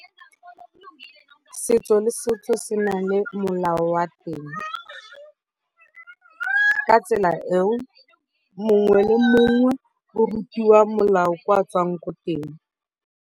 Setso le setso se nang le molao wa teng. Ka tsela eo, mongwe le mongwe o rutiwa molao ko a tswang ko teng.